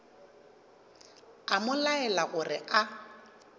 a mo laela gore a